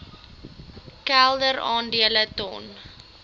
kelder aandele ton